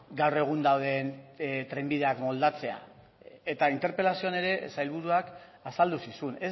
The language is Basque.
gaur egun dauden trenbideak moldatzea eta interpelazioan ere sailburuak azaldu zizun